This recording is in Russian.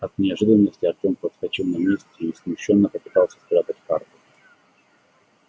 от неожиданности артем подскочил на месте и смущённо попытался спрятать карту